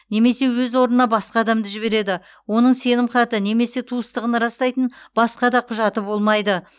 немесе өз орнына басқа адамды жібереді оның сенімхаты немесе туыстығын растайтын басқа да құжаты болмайды